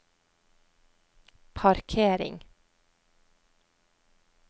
parkering